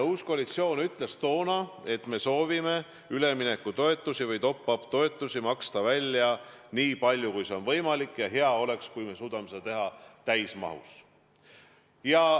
Uus koalitsioon ütles toona, et me soovime üleminekutoetusi ehk top-up toetusi maksta välja nii palju, kui see on võimalik, ja hea oleks, kui me suudaksime seda teha täismahus.